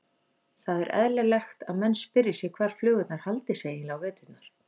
Það er eðlilegt að menn spyrji sig hvar flugurnar haldi sig eiginlega á veturna.